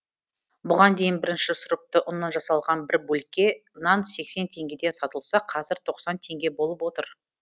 бұған дейін бірінші сұрыпты ұннан жасалған бір бөлке нан сексен теңгеден сатылса қазір тоқсан теңге болып отыр